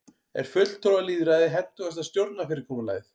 er fulltrúalýðræði hentugasta stjórnarfyrirkomulagið